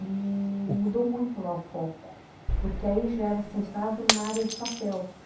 E mudou muito lá o foco, porque aí já era centrado na área de papel.